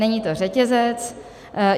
Není to řetězec.